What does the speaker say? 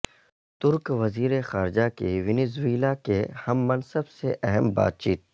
ترک وزیر خارجہ کی ونیزویلا کے ہم منصب سے اہم بات چیت